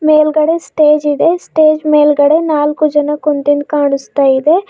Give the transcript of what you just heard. ಮೇಲ್ಗಡೆ ಸ್ಟೇಜ್ ಇದೆ ಸ್ಟೇಜ್ ಮೇಲ್ಗಡೆ ನಾಲ್ಕು ಜನ ಕುಂತಿಂದ್ ಕಾಣಿಸ್ತಾ ಇದೆ.